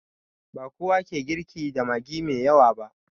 Bakowa ke girki da magi mai yawa ba